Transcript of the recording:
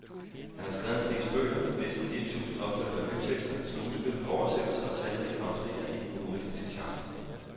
Han har skrevet en snes bøger, næsten et tusinde opførte revytekster, skuespil, oversættelser og talrige causerier i den humoristiske genre.